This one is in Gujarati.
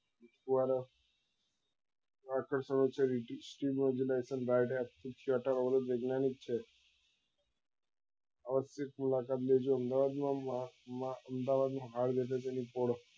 દ્વારા આકર્ષણ છે વૈજ્ઞાનિક છે અવ જે અમદાવાદ માં માં હાલ